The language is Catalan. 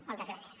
moltes gràcies